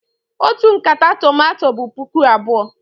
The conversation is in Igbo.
Otu nkata tomato bụ puku abụọ.